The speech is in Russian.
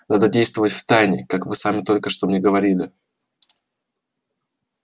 надо действовать втайне как вы сами только что мне говорили